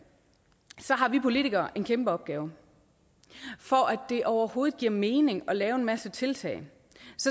har vi politikere en kæmpe opgave for at det overhovedet giver mening at lave en masse tiltag